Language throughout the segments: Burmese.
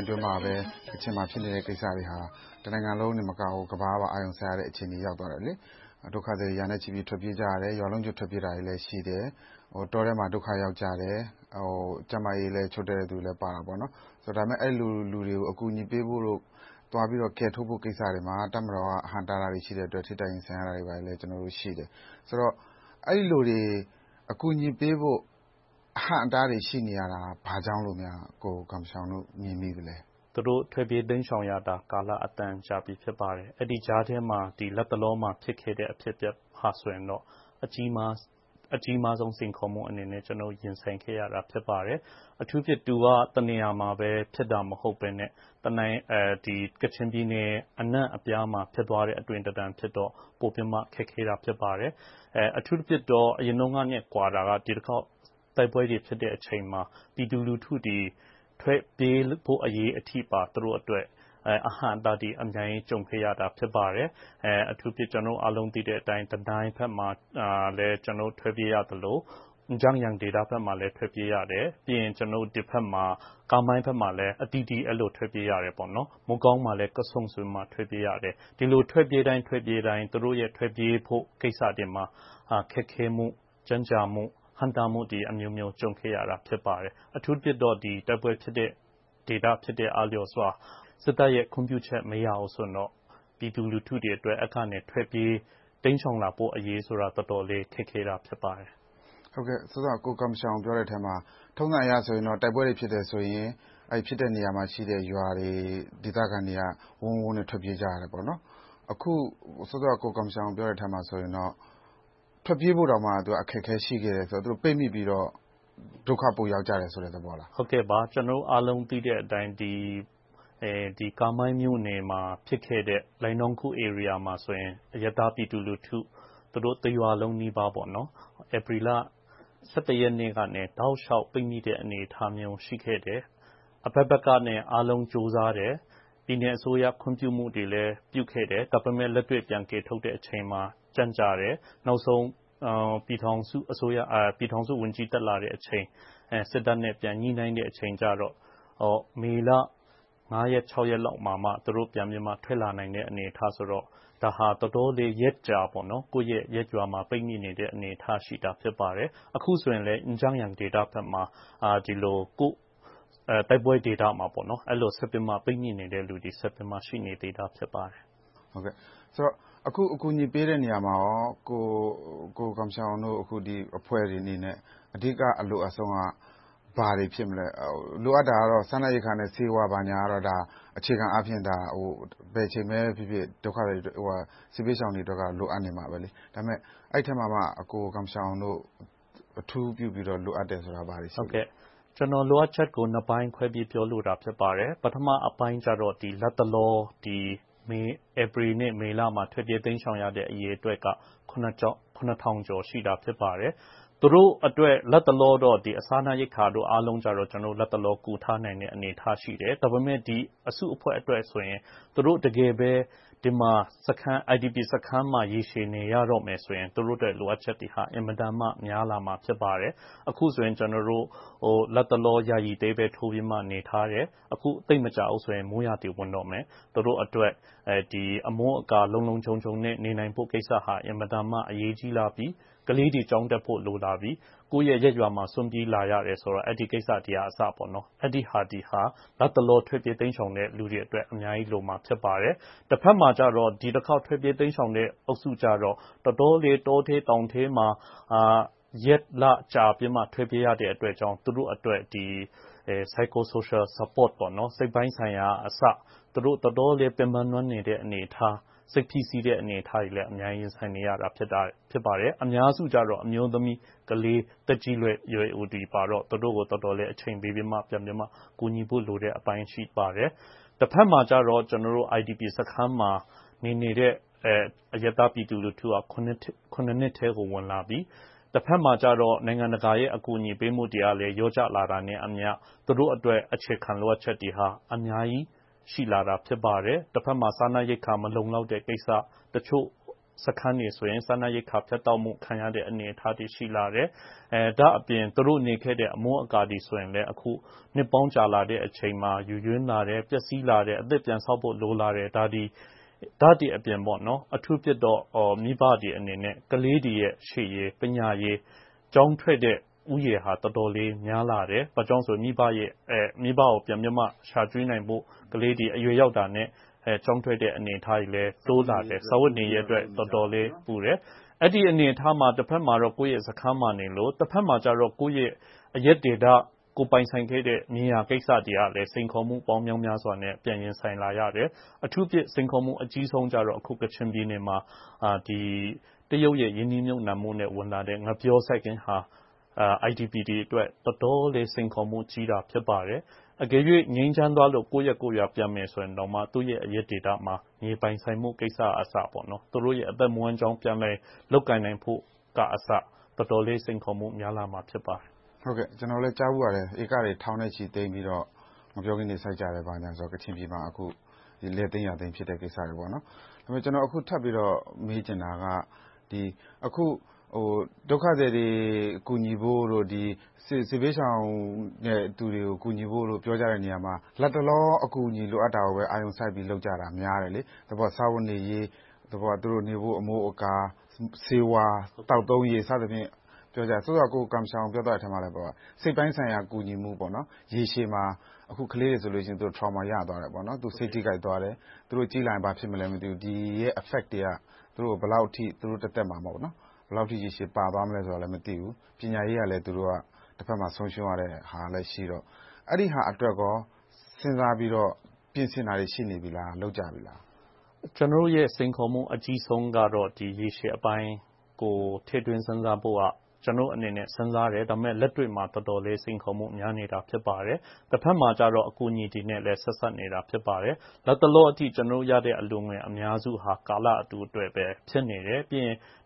အတွင်းမှာပဲ ကချင်မှာ ဖြစ်နေတဲ့ကိစ္စတွေဟာ တနိုင်ငံလုံးတင်မကဘူး၊ ကမ္ဘာကပင် အာရုံစိုက်သွားတဲ့ အခြေအနေကို ရောက်သွားခဲ့တယ်။ ဒုက္ခသည်တွေ ရာနဲ့ချီထွက်ပြေးကြတယ်။ ရွာလုံးကျွတ် ထွက်ပြေးတာတွေလည်းရှိတယ်။ တောထဲမှာ ဒုက္ခရောက်ကြတယ်။ ကျန်းမာရေးလည်း ချို့တဲ့ကြတဲ့လူတွေလည်းပါတယ်။ ဒါပေမဲ့ အဲဒီလူတွေကို အကူအညီပေးဖို့၊ သွားပြီးတော့ ကယ်ထုတ်ဖို့ကိစ္စတွေမှာ တပ်မတော်က အဟန့်အတားတွေ ရှိတဲ့အတွက် ထိပ်တိုက်ရင်ဆိုင်ရာတာတွေလည်းရှိတယ်။ ဆိုတော့ အဲဒီလိုတွေ အကူအညီပေးဖို့ အဟန့်အတားတွေ ရှိနေတာ ဘာကြောင့်လဲလို့ ကိုဂွမ်ရှာအောင်တို့ မြင်မိသလဲ။ သူတို့ထွက်ပြေးတိမ်ရှောင်ရတာ ကာလအတန်ကြာခဲ့ပြီ ဖြစ်ပါတယ်။ အဲဒီကြားထဲမှာ လတ်တလောမှာ ဖြစ်ပျက်ခဲ့တဲ့ဟာဆိုရင် အကြီးမားဆုံးစိန်ခေါ်မှုအနေနဲ့ ကျနော်တို့ ရင်ဆိုင်ခဲ့ရတာ ဖြစ်ပါတယ်။ အထူးသဖြင့် သူက တနေရာမှာပဲ ဖြစ်တာမဟုတ်ဘဲနဲ့ ကချင်ပြည်နယ်အနံ့ှအပြားမှာ ဖြစ်သွားတဲ့အသွင်သဏ္ဍာန်ဖြစ်တော့ ပိုပြီးတော့ ခက်ခဲသွားပါတယ်။ အထူးသဖြင့်တော့ အရင်တုန်းကနဲ့ ကွာတာကတော့ ဒီတခေါက် တိုက်ပွဲတွေဖြစ်တဲ့အချိန်မှာ ပြည်သူလူထုတွေ ထွက်ပြေးဖို့အရေးအထိပါ သူတို့အတွက် အဟန့်အတားတွေ ကြုံခဲ့ရပါတယ်။ ကျနော်တို့အားလုံး သိတဲ့အတိုင်း..ဘက်မှာ ကျနော်တို့ ထွက်ပြေးရသလို၊..ဘက်မှာလည်း ထွက်ပြေးရတယ်။ ပြီးတော့ ကာမိုင်းဘက်မှာလည်း အသီးသီး ထွက်ပြေးရတယ်။ မိုးကောင်းမှာလည်း ထွက်ပြေးရတယ်။ ဒီလိုထွက်ပြေးတိုင်း သူတို့ ထွက်ပြေးဖို့ကိစ္စတွေမှာ ခက်ခဲမှု၊ ကြန့်ကြာမှု၊ ဟန့်တားမှု အမျိုးမျိုးကို ကြုံခဲ့ရပါတယ်။ အထူးသဖြင့် တိုက်ပွဲဖြစ်တဲ့ ဒေသအားလုံးမှာ စစ်တပ်ရဲ့ ခွင့်ပြုချက် မရဘူးဆိုရင်တော့ ပြည်သူလူထုတွေအတွက် အဲဒီကနေ ထွက်ပြေးတိမ်ရှောင်လာဖို့အရေးက တော်တော်လေး ခက်ခဲပါတယ်။ အခုန ကိုဂွမ်ရှောင် ပြောတဲ့အထဲမှာ ထုံးစံအရဆိုရင် တိုက်ပွဲတွေဖြစ်တဲ့အခါ ဖြစ်တဲ့နေရာမှာရှိတဲ့ ရွာတွေ၊ ဒေသခံတွေက ဝုန်းဝုန်းနဲ့ ထွက်ပြေးကြတယ်။ အခုတော့ ထွက်ပြေးဖို့တောင် အခက်အခဲ ရှိခဲ့တဲ့ဆိုတော့ သူတို့ပိတ်မိပြီးတော့ ဒုက္ခပိုရောက်ကြတယ်ဆိုတဲ့ သဘောလား။ ကျနော်တို့အားလုံး သိတဲ့အတိုင်း ကာမိုင်းမြို့နယ်မှာ ဖြစ်ခဲ့တဲ့… ဧရိယာမှာဆိုရင် အရပ်သားပြည်သူလူထု တရွာလုံးနီးပါး ဧပြီလ ရက်ကနေ တောက်လျှောက်ပိတ်မိတဲ့ အနေအထားမျိုး ဖြစ်ခဲ့တယ်။ အဘက်ဘက်က အားလုံးကြိုးစားတယ်။ ပြည်နယ်အစိုးရ ခွင့်ပြုချက်တွေလည်း ပြုခဲ့တယ်။ ဒါပေမဲ့ လက်တွေ့ကယ်ထုတ်တဲ့အချိန်မှာ ကြန့်ကြာတယ်။ နောက်ဆုံး ပြည်ထောင်စုဝန်ကြီး တက်လာတဲ့အချိန် စစ်တပ်နဲ့ ပြန်ညှိနှိုင်းတဲ့အချိန်ကြတော့ မေလ ရက် ရက်နေ့လောက်မှာမှ သူတို့ ပြန်ထွက်လာနိုင်တဲ့ အနေအထားဆိုတော့ ဒါဟာ တော်တော်လေး ရက်ကြာကြာ ကိုယ့်ရဲ့ရပ်ရွာမှာ ပိတ်မိနေတဲ့အနေအထားရှိတာ ဖြစ်ပါတယ်။ အခုဆိုရင်လည်း… ဒေသဘက်မှာ အဲဒီလို ပိတ်မိနေတဲ့လူတွေ ဆက်ပြီးတော့ ရှိနေပါတယ်။ အခု အကူအညီပေးတဲ့နေရာမှာ ကိုဂွမ်ရှောင်တို့ အဖွဲ့တွေအနေနဲ့ အဓိက အလိုအပ်ဆုံးက ဘာတွေဖြစ်မလဲ။ လိုအပ်တာကတော့ စားနပ်ရိက္ခာနဲ့ ဆေးဝါး အခြေခံအားဖြင့် ဘယ်အချိန်ပဲဖြစ်ဖြစ် ဒုက္ခသည်တွေ၊ စစ်ဘေးရှောင်တွေအတွက်ကတော့ လိုအပ်နေမှာပဲ။ ဒါပေမဲ့ အဲဒီအထဲမှာမှ ကိုဂမ်ရှောင်တို့ အထူးပြုပြီး လိုအပ်တယ်ဆိုတာ ဘာတွေလဲ။ ကျနော်တို့ လိုအပ်ချက်ကို နှစ်ပိုင်းခွဲပြီး ပြောလိုပါတယ်။ ပထမပိုင်းက လတ်တလော ဧပြီနဲ့ မေလမှာ ထွက်ပြေးတိမ်ရှောင်ကြတဲ့ အရေအတွက်က ခုနှစ်ထောင်ကျော် ရှိပါတယ်။ သူတို့အတွက်တော့ လတ်တလောတော့ စားနပ်ရိက္ခာတို့တော့ ကူထားနိုင်တဲ့ အနေအထားရှိတယ်။ ဒါပေမဲ့ အစုအဖွဲ့အတွက်ဆိုရင် သူတို့ တကယ်ပဲ ဒီမှာ IDP စခန်းမှာ ရေရှည်နေရတော့မယ်ဆိုရင် သူတို့အတွက် လိုအပ်ချက်တွေက အင်မတန်မှ များလာမှာ ဖြစ်ပါတယ်။ အခုဆိုရင် ယာယီတဲထိုးပြီးတော့ နေနေရတယ်။ အခု သိပ်မကြာဘူးဆိုရင် မိုးရာသီဝင်တော့မယ်။ သူတို့အတွက် အမိုးအကာ လုံလုံခြုံခြုံ နေနိုင်ဖို့ကိစ္စဟာ အင်မတန်မှ အရေးကြီးလာပြီ။ ကလေးတွေ ကျောင်းတက်ဖို့ လိုလာပြီ။ ကိုယ့်ရဲ့ရပ်ရွာကို စွန့်ပစ်လာရတယ်ဆိုတော့ အဲဒီဟာတွေဟာ လတ်တလော ထွက်ပြေးလာတဲ့ လူတွေအတွက် အများကြီးလိုမှာ ဖြစ်ပါတယ်။ တဘက်မှာကြတော့ ဒီတခေါက် ထွက်ပြေးတိမ်ရှောင်ကြတဲ့ လူအုပ်စုကြတော့ တော်တော်လေး တောထဲတောင်ထဲမှာ ရက်လကြာပြီးမှ ထွက်ပြေးရတဲ့အတွက်ကြောင့် သူတို့အတွက် Psycho Social Support စိတ်ပိုင်းဆိုင်ရာအစ သူတို့ တော်တော်လေး ပင်ပန်းနွမ်းနယ်နေတဲ့ အနေအထား၊ စိတ်ဖိစီးနေတဲ့ အနေအထားတွေလည်း အများကြီးရင်ဆိုင်နေရတယ်။ အများစုက အမျိုးသမီး၊ ကလေး၊ သက်ကြီးရွယ်အိုတွေပါတော့ သူတို့ကို တော်တော်လေး အချိန်ပေးပြီးတော့ ကူညီရမယ့်အပိုင်း ရှိပါတယ်။ တဘက်မှာကြတော့ IDP စခန်းတွေမှာ နေနေတဲ့ အရပ်သားပြည်သူလူထုဟာ နှစ်ထဲကို ဝင်လာပြီ။ နိုင်ငံတကာ အကူအညီပေးမှုတွေကလည်း လျော့ကျလာတာနဲ့အမျှ သူတို့အတွက် အခြေခံလိုအပ်ချက်တွေ အများကြီး ရှိလာပါတယ်။ စားနပ်ရိက္ခာ မလုံလောက်တဲ့ကိစ္စ၊ တချို့စခန်းတွေဆိုရင် စားနပ်ရိက္ခာ ဖြတ်တောက်မှုခံရတဲ့ အနေအထားတွေ ရှိလာတယ်။ ဒါ့အပြင် သူတို့နေခဲ့တဲ့ အမိုးအကာတွေဆိုရင် အခုနှစ်ပေါင်းကြာလာတဲ့ အချိန်မှာ ယိုးယွင်းလာတယ်။ ပျက်ဆီးလာတယ်။ အသစ်ပြန်ဆောက်ဖို့ လိုလာတယ်။ ဒါတွေအပြင် အထူးသဖြင့်တော့ မိဘတွေအနေနဲ့ ကလေးတွေရဲ့ ရှေ့ရေး၊ ပညာရေး၊ ကျောင်းထွက်တဲ့ လူဦးရေဟာ တော်တော်လေး များလာတယ်။ မိဘကို ပြန်ပြီးတော့ ရှာကျွေးနိုင်ဖို့ ကလေးတွေ အရွယ်ရောက်တာနဲ့ ကျောင်းထွက်တဲ့ အနေအထားတွေလည်း တိုးလာတယ်။ စားဝတ်နေရေးအတွက် တော်တော်လေး လိုအပ်တယ်။ အဲဒီအနေအထားမှာ တဘက်မှာတော့ ကိုယ့်ရဲ့စခန်းမှာနေရပြီ၊ တဘက်မှာကြတော့ ကိုယ့်အရပ်ဒေသ ကိုယ်ပိုင်ဆိုင်ခဲ့တဲ့ နေရာကိစ္စတွေကလည်း စိန်ခေါ်မှုပေါင်း မြောက်မြားစွာနဲ့ ရင်ဆိုင်လာရတယ်။ အထူးသဖြင့် စိန်ခေါ်မှု အကြီးမားဆုံးကတော့ ကချင်ပြည်နယ်မှာ တရုတ်ရဲ့ ရင်းနှီးမြုပ်နံှမှုနဲ့ ဝင်လာတဲ့ ငှက်ပျောစိုက်ခင်းဟာ IDP တွေအတွက် တော်တော်လေး စိန်ခေါ်မှုကြီးပါတယ်။ အကယ်၍ ငြိမ်းချမ်းသွားလို့ ကိုယ့်ရပ်ကိုယ့်ရွာ ပြန်မယ်ဆိုရင် သူတို့ရဲ့ အရပ်ဒေသမှာ မြေပိုင်ဆိုင်မှုကိစ္စကအစ သူတို့ရဲ့ အသက်မွေးဝမ်းကြောင်း ပြန်လည်းလုပ်ကိုင်နိုင်ဖို့အစ တော်တော်လေး စိန်ခေါ်မှု များလာမှာ ဖြစ်ပါတယ်။ ကျနော်လည်း ကြားဖူးပါတယ် ဧကတွေ ထောင်နဲ့ချီသိမ်းပြီးတော့ ငှက်ပျောခင်းတွေ စိုက်ကြတယ်ဆိုတာ။ ကချင်ပြည်နယ်မှာ လယ်သိမ်ယာသိမ်းတဲ့ကိစ္စတွေ။ ဒါပေမဲ့ ကျနော် ထပ်ပြီးတော့ မေးချင်တာက အခု ဒုက္ခသည်တွေ ကူညီဖို့တို့၊ စစ်ဘေးရှောင်တွေကို ကူညီဖို့တို့ ပြောကြတဲ့နေရာမှာ လတ်တလော အကူအညီ လိုအပ်တာကို အာရုံစိုက်ပြီးတော့ လုပ်ကြတာများတယ်။ သဘောက စားဝတ်နေရေး၊ သူတို့နေဖို့ အမိုးအကာ၊ ဆေးဝါး၊ သောက်သုံးရေတို့ ပြောကြတယ်။ စောစောက ကိုဂမ်ရှောင် ပြောပြတဲ့အထဲမှာလည်း ပါပါတယ်။ စိတ်ပိုင်းဆိုင်ရာ ကူညီမှု၊ ရေရှည်မှာ ကလေးတွေဆိုရင် Trauma ရသွားတယ်။ စိတ်ထိခိုက်သွားတယ်။ သူတို့ကြီးလာရင် ဘာဖြစ်သွားမလဲ မသိဘူး။ ဒီရဲ့ effects တွေက သူတို့ကို သူတို့တသက်မှာ ဘယ်လောက်အထိ ရေရှည်ပါသွားမလဲဆိုတာ မသိဘူး။ ပညာရေးကလည်း တဘက်မှာ ဆုံးရှုံးရတဲ့ဟာလည်းရှိတော့ အဲဒီဟာအတွက်ကော စဉ်းစားပြီးတော့ ပြင်ဆင်တာတွေ ရှိနေပြီလား။ လုပ်ကြပြီလား။ ကျနော်တို့ရဲ့ စိန်ခေါ်မှု အကြီးမားဆုံးကတော့ ဒီရေရှည်ပိုင်းကို ထည့်သွင်းစဉ်းစားဖို့က ကျနော်တို့အနေနဲ့ စဉ်းစားတယ်။ လက်တွေ့မှာ စိန်ခေါ်မှု တော်တော်လေး များနေတာ ဖြစ်ပါတယ်။ တဘက်မှာကြတော့ အကူအညီတွေနဲ့ ဆက်စပ်နေတာ ဖြစ်ပါတယ်။ လတ်တလောအထိ ကျနော်တို့ရရှိတဲ့ အလှုငွေ အများစုဟာ ကာလတိုအတွက်ပဲ ဖြစ်နေတယ်။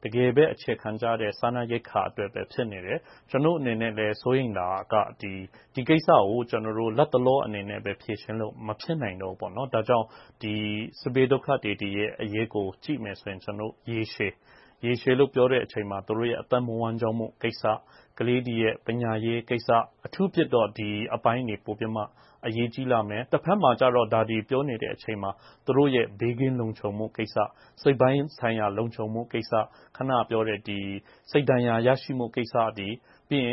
တကယ်ပဲ အခြေခံကျတဲ့ စားနပ်ရိက္ခာအတွက်ပဲ ဖြစ်နေတယ်။ ကျနော်တို့အနေနဲ့လည်း စိုးရိမ်တာက ဒီကိစ္စကို လတ်တလောအနေနဲ့ပဲ ဖြေရှင်းလို့ မဖြစ်နိုင်တော့၊ ဒါကြောင့် စစ်ပြေးဒုက္ခသည်တွေရဲ့ အရေးကို ကြည့်မယ်ဆိုရင် ရေရှည်လို့ ပြောတဲ့အချိန်မှာ သူတို့ရဲ့ အသက်မွေးဝမ်းကြောင်းကိစ္စ၊ ကလေးတွေရဲ့ ပညာရေးကိစ္စ။ အထူးသဖြင့်တော့ ဒီအပိုင်းတွေ ပိုပြီး အရေးကြီးလာမယ်။ တဘက်မှာတော့ ဒါတွေပြောနေတဲ့အချိန်မှာ သူတို့ ဘေးကင်းလုံခြုံဖို့ကိစ္စ၊ စိတ်ပိုင်းဆိုင်ရာ လုံခြုံဖို့ကိစ္စ။ အခုနပြောတဲ့ စိတ်ဒဏ်ရာရရှိတဲ့ကိစ္စ။ ပြီး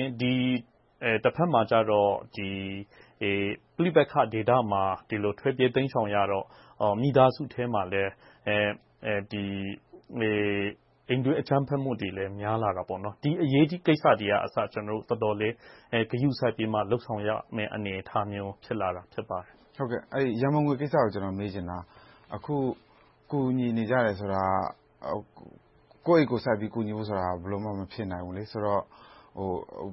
တော့ ပဋိပက္ခဒေသမှာ ဒီလိုထွက်ပြေးတိမ်ရှောင်ရတော့ မိသားစုထဲမှာလည်း အိမ်တွင်းအကြမ်းဖက်မှုတွေလည်း များလာတယ်။ ဒီကိစ္စတွေကို ဂရုစိုက်ပြီးတော့ လုပ်ဆောင်ရမယ့် အနေအထားမျိုး ဖြစ်လာတာ ဖြစ်ပါတယ်။ ရန်ပုံငွေကိစ္စကို မေးချင်တာ။ အခု ကူညီနေကြတယ်ဆိုတာ ကိုယ့်အိတ်ကိုယ်စိုက်ပြီး ကူညီဖို့ဆိုတာ ဘယ်လိုမှ မဖြစ်နိုင်ဘူး။ ဆိုတော့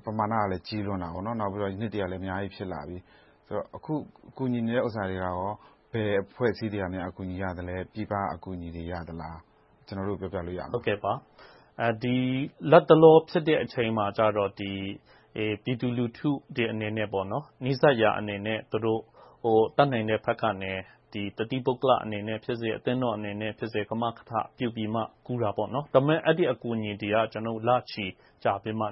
ပမာဏကလည်း ကြီးလွန်တယ်။ နောက်ပြီးတော့ နှစ်တွေကလည်း အများကြီး ဖြစ်လာပြီ။ အခု ကူညီနေတဲ့ဟာတွေက ဘယ်အဖွဲ့အစည်းတွေက အကူအညီရလဲ။ ပြည်ပက အကူအညီတွေ ရသလား။ ကျနော်တို့ကို ပြောပြလို့ရမလား။ လတ်တလော ဖြစ်မယ့်အချိန်မှာတော့ ပြည်သူလူထုအနေနဲ့ နီးစပ်ရာအနေနဲ့ တတ်နိုင်တဲ့ဘက်ကနေ တသီးပုဂ္ဂလိကအနေနဲ့ဖြစ်စေ၊ အသင်းတော်အနေနဲ့ဖြစ်စေ ကမာကထပြုပြီးမှ ကူညီကြတယ်။ ဒါပေမဲ့ အဲဒီအကူအညီတွေက လချီကြာပြီမှ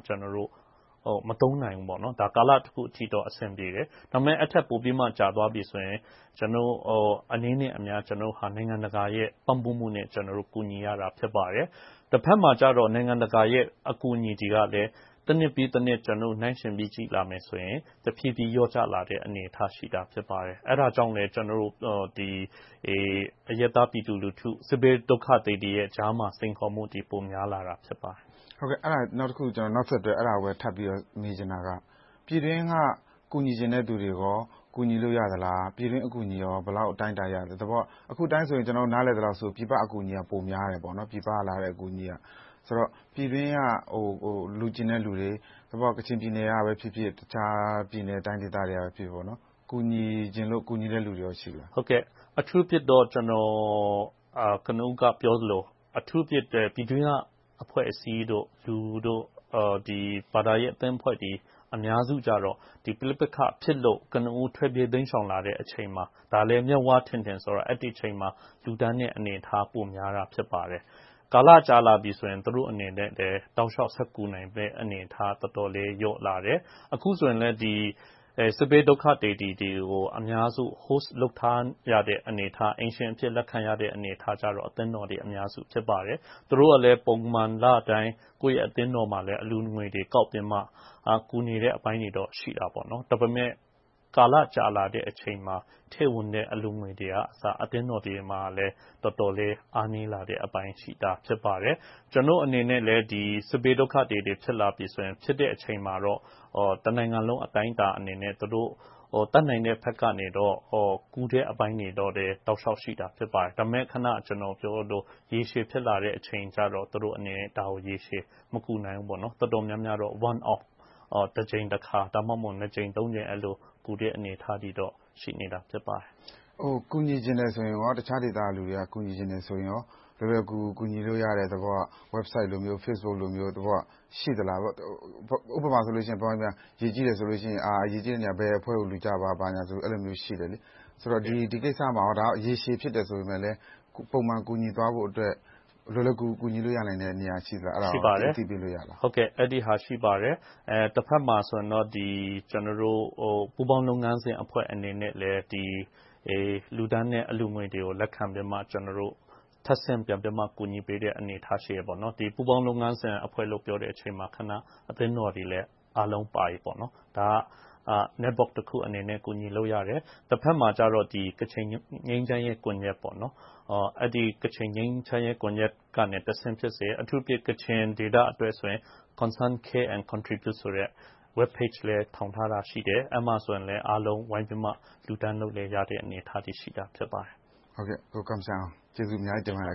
မသုံးနိုင်ဘူး။ ကာလတခုအထိတော့ အဆင်ပြေတယ်။ ဒါပေမဲ့ အဲဒီထက်ပိုကြာသွားပြီဆိုရင် အနည်းနဲ့အများ နိုင်ငံတကာရဲ့ ပံ့ပိုးမှုနဲ့ ကူညီရတာ ဖြစ်ပါတယ်။ တဘက်မှာကြတော့ နိုင်ငံတကာအကူအညီတွေက တနှစ်ပြီးတနှစ် နှိုင်းယှဉ်ပြီး ကြည့်လာမယ်ဆိုရင် တဖြည်းဖြည်း လျော့ကျလာတဲ့ အနေအထား ဖြစ်လာပါတယ်။ အဲဒါကြောင့်လဲ အရပ်သားပြည်သူလူထု စစ်ဘေးဒုက္ခသည်တွေကြားမှာ စိန်ခေါ်မှုတွေ ပိုများလာတာ ဖြစ်ပါတယ်။ အဲဒါနဲ့ နောက်ဆက်တွဲ ထပ်မေးချင်တာက ပြည်တွင်းက ကူညီချင်တဲ့လူတွေကော ကူညီလို့ရသလး။ ပြည်တွင်းအကူအညီကော ဘယ်လောက်အတိုင်းအတာ ရသလဲ။ သဘောက အခုအတိုင်း ကျနော်တို့ နားလည်တာက ပြည်ပအကူအညီက ပိုများတယ်။ ပြည်တွင်းက လှုချင်တဲ့လူတွေ သဘောက ကချင်ပြည်နယ်ကပဲဖြစ်ဖြစ်၊ တခြားပြည်နယ်တိုင်းဒေသတွေကဖြစ်ဖြစ် ကူညီချင်လို့ ကူညီတဲ့လူတွေကော ရှိသလား။ အထူးသဖြင့် ကျနော် ကနဦးကပြောသလို ပြည်တွင်းကအဖွဲ့အစည်းတို့၊ လူတွေ၊ ဘာသာရေးအသင်းအဖွဲ့တွေ အများစုကြတော့ ပဋိပက္ခဖြစ်လို့ ကနဦးထွက်ပြေးတိမ်ရှောင်လာတဲ့အချိန်မှာ ဒါလဲ မျက်ဝါးထင်ထင်မြင်ရတဲ့ အချိန်မှာ လှုဒါန်းတဲ့ အနေအထား ပိုများပါတယ်။ ကာလကြာလာပြီဆိုရင် သူတို့အနေနဲ့လဲ တောက်လျှောက်ဆက်ကူညီနိုင်မယ့် အနေအထား တော်တော်လေး လျော့လာတယ်။ အခုဆိုရင်လဲ စစ်ဘေးဒုက္ခသည်တွေကို အများစု Host လုပ်ထားရတဲ့အနေအထား၊ အိမ်ရှင်အဖြစ် လက်ခံထားရတဲ့ အနေအထားကို အသင်းတော်တွေ အများစုလုပ်နေပါတယ်။ သူတို့ကလည်း ပုံမှန်လတိုင်း အသင်းတော်မှာ အလှုငွေတွေကောက်ပြီးတော့ ကူညီနေတဲ့အပိုင်း ရှိပါတယ်။ ဒါပေမဲ့ ကာလကြာလာတဲ့အချိန်မှာ ထည့်ဝင်တဲ့ အလှုငွေတွေက အသင်းတော်မှာ တော်တော်လေး အားနည်းလာတဲ့အပိုင်းရှိလာပါတယ်။ ကျနော့်အနေနဲ့လည်း စစ်ဘေးဒုက္ခသည်တွေ ဖြစ်လာပြီဆိုရင် ဖြစ်လာတဲ့အချိန်မှာတော့ တနိုင်ငံလုံး အတိုင်းအတာအနေနဲ့ သူတို့တတ်နိုင်တဲ့ဘက်ကနေ ကူညီတဲ့အပိုင်းတွေ တောက်လျှောက်ရှိပါတယ်။ ဒါပေမဲ့ ကျနော် အခုနပြောသလို ရေရှည်ဖြစ်လာတဲ့အချိန်ကြတော့ သူတို့အနေနဲ့ ရေရှည်မကူညီနိုင်ဘူး။ တော်တော်များများတော့ တကြိမ်တခါ၊ နှစ်ကြိမ်သုံးကြိမ် ကူတဲ့ အနေအထားတော့ ရှိပါတယ်။ တခြားဒေသကလူတွေက ကူညီချင်တယ်ဆိုရင် လွယ်လွယ်ကူကူ ကူညီလို့ရတယ့် Website, Facebook လိုမျိုး ရှိသလား။ ဥပမာ ဗမာပြည်မှာ ရေကြီးတယ်ဆိုရင် ဘယ်အဖွဲ့ကို လှုကြပါဆိုပြီး ရှိတယ်။ ဒီကိစ္စမှာဆိုရင် ဒီကိစ္စက ရေရှည်ဖြစ်ပေမယ့်လဲ ပုံမှန်ကူညီသွားဖို့အတွက် လွယ်လွယ်ကူကူ ကူညီရနိုင်တဲ့နေရာ ရှိပါလား။ အဲဒီဟာ ရှိပါတယ်။ တဘက်မှာဆိုရင်တော့ ကျနော်တို့ ပူးပေါင်းလုပ်ငန်းစဉ်အဖွဲ့ အနေနဲ့လည်း လှုတန်းတဲ့အလှုငွေတွေကိုလည်း လက်ခံပြီးတော့ ထပ်ဆင့်ပြန်ပြီးတော့ ကူညီပေးတဲ့ အနေအထားရှိတယ်။ ပူးပေါင်းလုပ်ငန်းစဉ်အဖွဲ့လို့ပြောတဲ့အချိန်မှာ အသင်းတော်တွေလည်း အားလုံးပါတယ်။ ဒါကို ကူညီလို့ရတယ်။ တဘက်မှာ ကချင်ငြိမ်းချမ်းရေးကွန်ရက်ကနေ တဆင့်ဖြစ်စေ၊ အထူးသဖြင့် ကချင်ဒေသအတွက်ဆိုရင် Concern Care and Contribute ဆိုတဲ့ Web Page လည်း ထောင်ထားတာရှိတယ်။ အဲဒီမှာလည်း အားလုံးဝိုင်းပြီးတော့ လှုဒါန်းလို့ရတဲ့ အနေအထားတွေရှိပါတယ်။ အခုလို ဖြေကြားပေးတဲ့အတွက် ကျေးဇူးအများကြီးတင်ပါတယ်